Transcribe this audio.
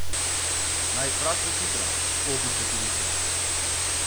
Naj jih vrag pocitra, opice hudičeve.